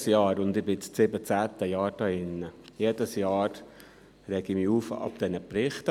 Jedes Jahr – und ich bin jetzt das 17. Jahr hier – rege ich mich über diese Berichte auf.